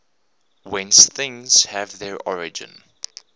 whence things have their origin